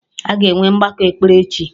Aga enwe mgbakọ ekpere echi